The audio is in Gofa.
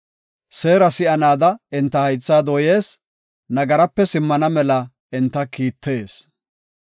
Seera si7anaada enta haytha dooyees; nagarape simmana mela enta kiittees.